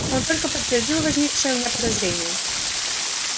он только подтвердил возникшее у меня подозрение